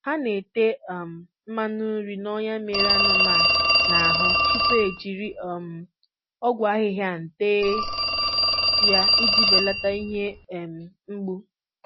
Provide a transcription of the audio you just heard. Ha na-ete um mmanụ nri n'ọnya mere anụmanụ n'ahụ tupu ha ejiri um ọgwụ ahịhịan tee ya iji belata ihe um mgbu.